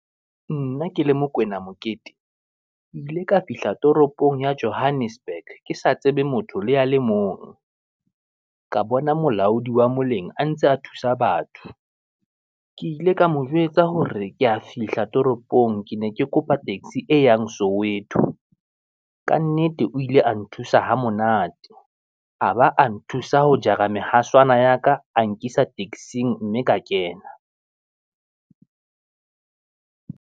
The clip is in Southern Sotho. Nna ke le Mokwena Mokete, ke ile ka fihla toropong ya Johannesburg ke sa tsebe motho le ya le mong, ka bona molaodi wa moleng a ntse a thusa batho, ke ile ka mo jwetsa hore ke a fihla toropong ke ne ke kopa taxi e yang Soweto. Kannete o ile a nthusa ho monate, a ba a nthusa ho jara mehaswane ya ka, a nkisa taxing mme ka kena.